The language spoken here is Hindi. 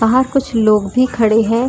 बाहर कुछ लोग भी खड़े हैं।